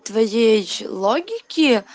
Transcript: твоей логике